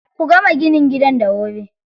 Ku gama ginin gidan da wuri.